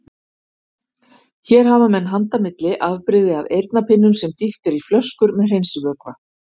Hér hafa menn handa milli afbrigði af eyrnapinnum sem dýft er í flöskur með hreinsivökva.